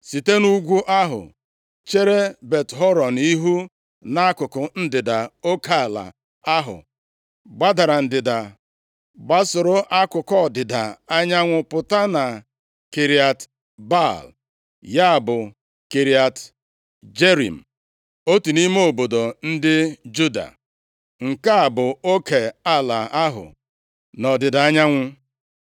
Site nʼugwu ahụ chere Bet-Horon ihu nʼakụkụ ndịda, oke ala ahụ gbadara ndịda gbasoro akụkụ ọdịda anyanwụ pụta na Kiriat Baal, ya bụ, Kiriat Jearim, otu nʼime obodo ndị Juda. Nke a bụ oke ala ahụ nʼọdịda anyanwụ.